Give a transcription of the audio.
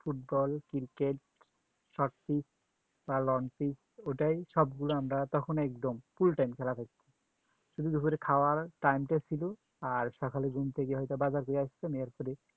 Football cricket Short pitch বা Long pitch ওটাই সবগুলো আমরা তখন একদম full time খেলা করছি শুধু দুপুরে খোয়ার time ছিল আর সকালে ঘুম থেকে হয়তো বাজার নিয়ে আসতাম আর পরে